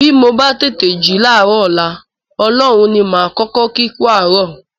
Bí mo bá tètè jí láàárọ̀ ọ̀la, Ọlọ́run ní màá kọ́kọ́ kí kú àárọ̀